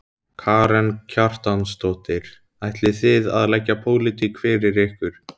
Karen Kjartansdóttir: Ætlið þið að leggja pólitík fyrir ykkur?